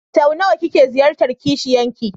Sau nawa kike ziyartar kishiyan ki?